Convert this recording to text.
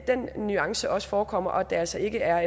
den nuance også forekommer og at det altså ikke er